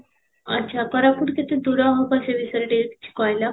ଆଚ୍ଛା, କୋରାପୁଟ କେତେ ଦୂର ହବ ସେଇ ବିଷୟରେ ଟିକେ କିଛି କହିଲ